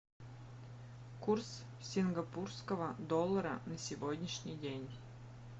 курс сингапурского доллара на сегодняшний день